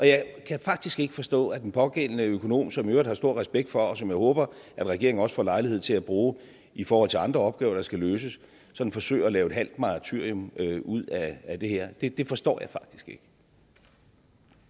jeg kan faktisk ikke forstå at den pågældende økonom som jeg i øvrigt har stor respekt for og som jeg håber regeringen også får lejlighed til at bruge i forhold til andre opgaver der skal løses sådan forsøger at lave et halvt martyrium ud af det her det forstår jeg faktisk ikke